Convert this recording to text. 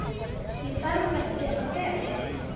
Þarf ekkert að fela.